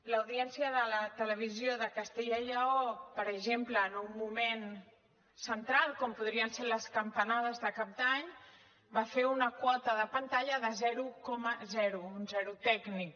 l’audiència de la televisió de castella i lleó per exemple en un moment central com podrien ser les campanades de cap d’any va fer una quota de pantalla de zero coma zero un zero tècnic